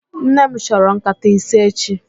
Nnem chọrọ nkata ise echi